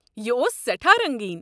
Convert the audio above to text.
یہِ اوس سیٹھاہ رنگٖین۔